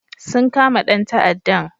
Sun kama dan ta'addan